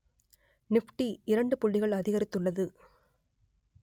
Nifty இரண்டு புள்ளிகள் அதிகரித்துள்ளது